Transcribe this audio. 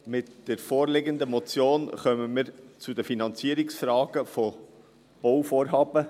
Mit der vorliegenden Motion kommen wir zu den Finanzierungsfragen von Bauvorhaben.